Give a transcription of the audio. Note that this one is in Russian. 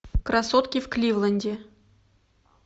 красотки в кливленде